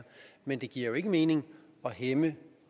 men det giver jo ikke mening at hæmme